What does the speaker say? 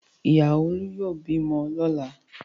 Ìyàwó Olú yóò bímọ lọ́la!